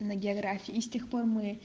на географии и с тех пор мы